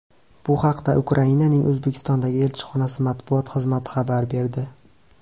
Bu haqda Ukrainaning O‘zbekistondagi elchixonasi matbuot xizmati xabar berdi.